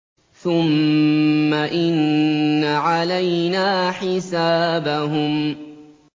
ثُمَّ إِنَّ عَلَيْنَا حِسَابَهُم